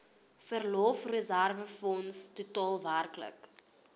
verlofreserwefonds totaal werklik